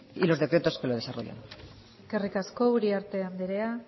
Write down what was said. y de los decretos que lo desarrollan eskerrik asko uriarte andrea